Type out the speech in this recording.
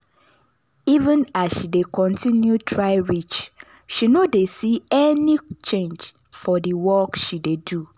even as she dey continue try reach she no dey see any change for the work she dey do